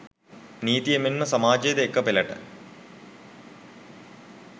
නීතිය මෙන්ම සමාජයද එක පෙළට